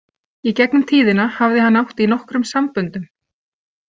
Í gegnum tíðina hafði hann átt í nokkrum samböndum.